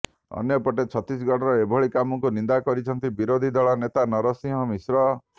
ଅନ୍ୟପଟେ ଛତିଶଗଡର ଏଭଳି କାମକୁ ନିନ୍ଦା କରିଛନ୍ତି ବିରୋଧୀ ଦଳ ନେତା ନରସିଂହ ମିଶ୍ର